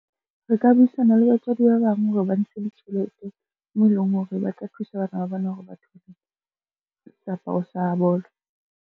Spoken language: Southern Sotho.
Re ka buisana le batswadi ba bang hore ba ntshe ditjhelete mo eleng hore ba tla thusa bana ba bona hore bathole seaparo sa bolo.